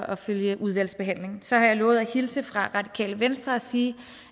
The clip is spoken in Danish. at følge udvalgsbehandlingen så har jeg lovet at hilse fra radikale venstre og sige